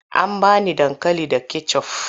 An ba ni dankali da kecof.